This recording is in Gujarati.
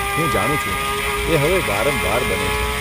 હું જાણું છું, એ હવે વારંવાર બને છે.